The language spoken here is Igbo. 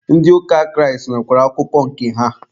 Ndị ụka Kraịst nwekwara akụkọ nke ha.